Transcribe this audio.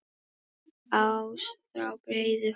ás frá breiðholti